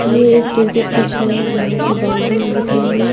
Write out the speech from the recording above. ये एक cricket pitch है यहाँ पर बाउंड्रीज दिख रही है।